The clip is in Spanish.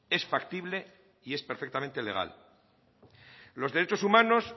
es factible y es perfectamente legal los derechos humanos